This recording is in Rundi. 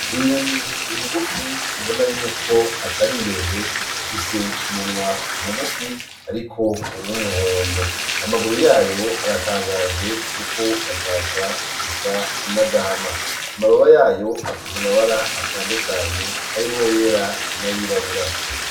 Inyoni ngufi ubona yuko atari ndende ,ifise umunwa mugufi ariko w'umuhondo. Amaguru yayo aratangaje, kuko ashaka gusa n'agahama. Amababa yayo afise amabara atandukanye, harimwo ayera n'ayirabura.